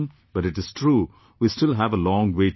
But it is true we still have a long way to go